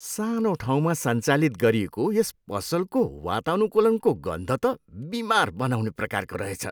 सानो ठाउँमा सञ्चालित गरिएको यस पसलको वातानुकूलनको गन्ध त बिमार बनाउने प्रकारको रहेछ।